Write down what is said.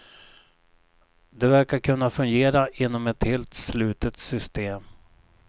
Det verkar kunna fungera inom ett helt slutet system.